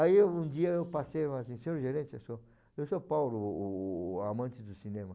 Aí um dia eu passei e falei assim, ''você é o gerente?'', ''Eu sou'' '' Eu sou o Paulo, o amante do cinema''.